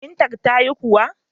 Firintar tayi ƙura.